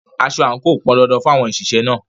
Aso àǹkò pọn dandan fún àwọn òṣìṣẹ́ náà.